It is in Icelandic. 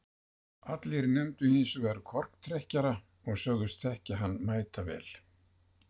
allir nefndu hins vegar korktrekkjara og sögðust þekkja hann mætavel